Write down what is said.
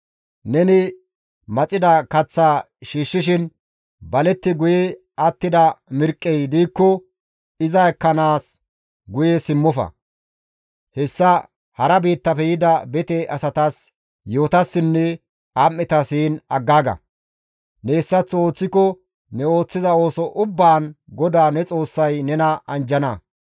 Neni maxida kaththaa shiishshiin baletti guye attida mirqqey diikko iza ekkanaas guye simmofa; hessa hara biittafe yida bete asatas, yi7otassinne am7etas heen aggaaga. Ne hessaththo ooththiko ne ooththiza ooso ubbaan GODAA ne Xoossay nena anjjana.